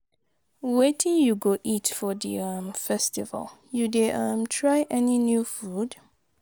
Wetin you go eat for di um festival, you dey um try any new food?